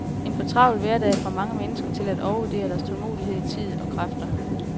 En fortravlet hverdag får mange mennesker til at overvurdere deres tålmodighed, tid og kræfter.